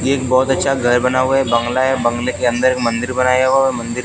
एक बहुत अच्छा घर बना हुआ है बंगला है बंगले के अंदर एक मंदिर बनाया हुआ मंदिर--